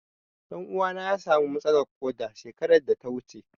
Ɗan uwana ya samu matsalar ƙoda shekarar da ta wuce.